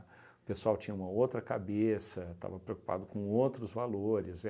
O pessoal tinha uma outra cabeça, estava preocupado com outros valores.